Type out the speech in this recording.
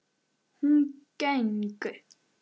Hún geng